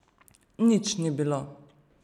Nič ni bilo.